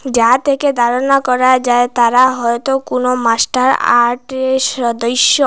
যা দেইখে ধারণা করা যায় তারা হয়তো কোনো মাস্টার আর সদইস্য।